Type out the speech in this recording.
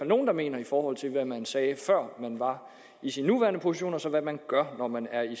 nogle der mener i forhold til hvad man sagde før man var i sin nuværende position og så gør når man er i